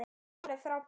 Alveg frábær.